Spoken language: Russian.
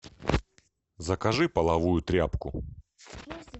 закажи половую тряпку